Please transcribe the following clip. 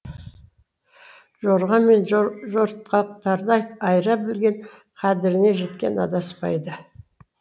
жорға мен жортақтарды айыра білген қадіріне жеткен адаспайды